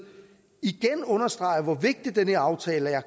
understreger hvor vigtig den her aftale er